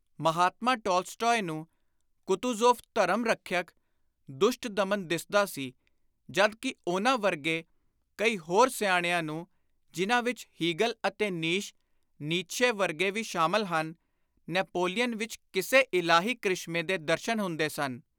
Mahatma Tolstoy ਨੂੰ Kutuzov ਧਰਮ ਰੱਖਿਅਕ, ਦੁਸ਼ਟ-ਦਮਨ ਦਿੱਸਦਾ ਸੀ ਜਦ ਕਿ ਉਨ੍ਹਾਂ ਵਰਗੇ ਕਈ ਹੋਰ ਸਿਆਣਿਆਂ ਨੂੰ, ਜਿਨ੍ਹਾਂ ਵਿਚ ਹੀਗਲ ਅਤੇ ਨੀਸ਼ (ਨੀਤਸ਼ੇ) ਵਰਗੇ ਵੀ ਸ਼ਾਮਲ ਹਨ, ਨੈਪੋਲੀਅਨ ਵਿਚ ਕਿਸੇ ਇਲਾਹੀ ਕ੍ਰਿਸ਼ਮੇ ਦੇ ਦਰਸ਼ਨ ਹੁੰਦੇ ਸਨ।